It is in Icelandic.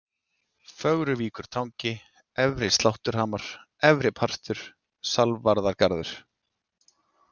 Fögruvíkurtangi, Efri-Slátturhamar, Efri-Partur, Salvarargarður